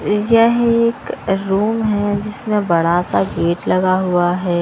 यह एक रूम है जिसमें बड़ा सा गेट लगा हुआ है।